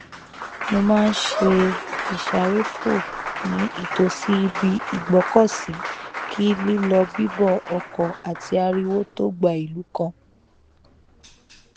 mo má n ṣe ìsáréfò ní ìtòsí ibi ìgbọkọsí kí lílọ bíbọ ọkọ àti ariwo tó gba ìlú kan